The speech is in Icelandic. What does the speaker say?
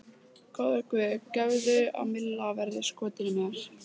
Góði Guð, gefðu að Milla verði skotin í mér.